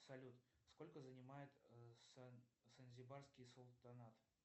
салют сколько занимает занзибарский султанат